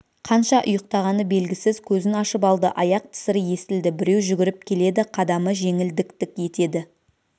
қанша ұйықтағаны белгісіз көзін ашып алды аяқ тысыры естілді біреу жүгіріп келеді қадамы жеңіл дік-дік етеді